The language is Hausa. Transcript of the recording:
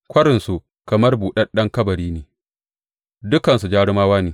Kwarinsu kamar buɗaɗɗen kabari ne; dukansu jarumawa ne.